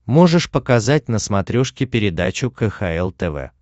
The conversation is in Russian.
можешь показать на смотрешке передачу кхл тв